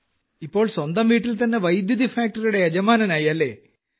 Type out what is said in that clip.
ഇപ്പോൾ സ്വന്തം വീട്ടിൽത്തന്നെ വൈദ്യുതി ഫാക്ടറിയുടെ യജമാനനായി അല്ലേ